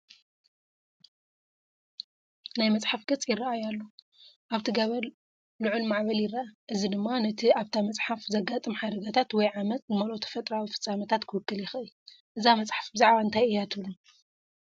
ናይ መጽሓፍ ገጽ ይረአ ኣሎ። ኣብቲ ገበር ልዑል ማዕበል ይርአ፣ እዚ ድማ ነቲ ኣብታ መጽሓፍ ዘጋጥም ሓደጋታት ወይ ዓመጽ ዝመልኦ ተፈጥሮኣዊ ፍጻመታት ክውክል ይኽእል። እዛ መጽሓፍ ብዛዕባ እንታይ እያ ትብሉ?